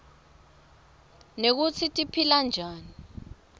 nekutsi tiphila njani